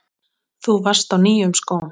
Þú varst á nýjum skóm.